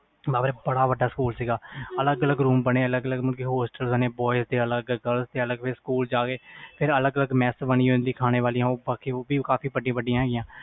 ਬੜਾ ਵੱਡਾ ਸਕੂਲ ਸੀ ਅਲਗ ਅਲਗ ਰੂਮ ਬਣੇ ਅਲਗ ਅਲਗ ਹੋਸਟਲ ਬਣੇ boys girls ਦੇ ਅਲਗ ਸਕੂਲ ਫਿਰ mass ਬਾਣੀ ਹੁੰਦੀ ਖਾਣੇ ਵਾਲੀ